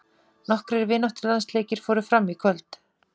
Nokkrir vináttulandsleikir fóru fram í kvöld.